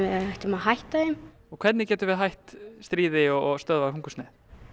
ættum að hætta þeim hvernig getum við hætt stríði og stöðvað hungursneyð